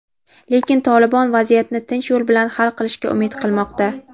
lekin "Tolibon" vaziyatni tinch yo‘l bilan hal qilishga umid qilmoqda.